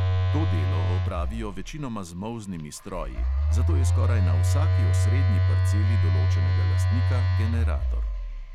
To delo opravijo večinoma z molznimi stroji, zato je skoraj na vsaki osrednji parceli določenega lastnika generator.